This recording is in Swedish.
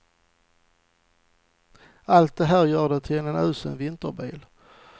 Allt det här gör den till en usel vinterbil.